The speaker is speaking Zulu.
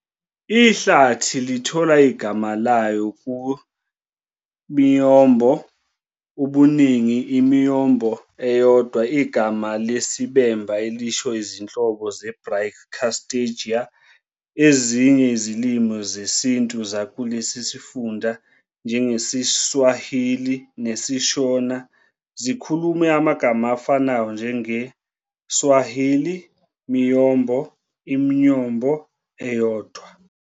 Ihlathi lithola igama layo ku"-miyombo", ubuningi, "i-muyombo" eyodwa, igama lesiBemba elisho izinhlobo ze-"Brachystegia". Ezinye izilimi zesiBantu zakulesi sifunda, njengesiSwahili nesiShona, zikhulume amagama afanayo, njengeSwahili "miyombo", "i-myombo" eyodwa.